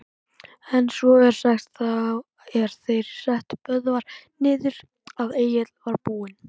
En svo er sagt, þá er þeir settu Böðvar niður, að Egill var búinn